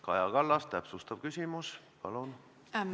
Kaja Kallas, täpsustav küsimus, palun!